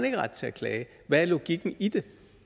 ikke har ret til at klage hvad er logikken i det